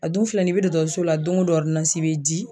A dun filɛ nin ye i bɛ dɔkɔtɔrɔso la, don ko don bɛ di